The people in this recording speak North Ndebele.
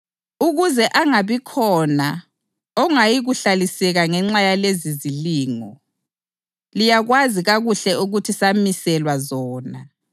ukuze angabikhona ongayikuhlaliseka ngenxa yalezizilingo. Liyakwazi kakuhle ukuthi samiselwa zona.